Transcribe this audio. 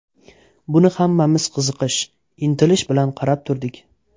Buni hammamiz qiziqish, intilish bilan qarab turdik.